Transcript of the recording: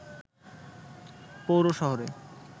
পৌর শহরে